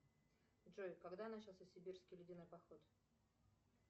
джой когда начался сибирский ледяной поход